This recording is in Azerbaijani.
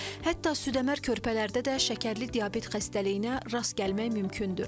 Hətta südəmər körpələrdə də şəkərli diabet xəstəliyinə rast gəlmək mümkündür.